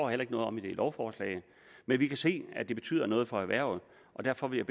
heller ikke noget om i lovforslaget men vi kan se at det betyder noget for erhvervet og derfor vil